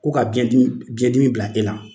K'u ka biɲɛdimi biɲɛdimi bila e la